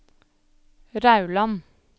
Rauland